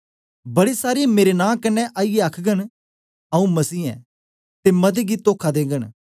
बड़े सारे मेरे नां कन्ने आईयै आखघन आऊँ मसही आं ते मते गी तोखा देगन